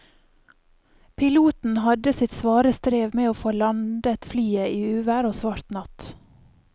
Piloten hadde sitt svare strev med å få landet flyet i uvær og svart natt.